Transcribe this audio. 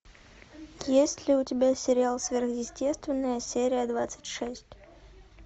есть ли у тебя сериал сверхъестественное серия двадцать шесть